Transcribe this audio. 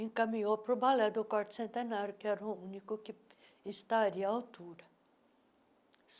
encaminhou para o Balé do Corte Centenário, que era o único que estaria à altura.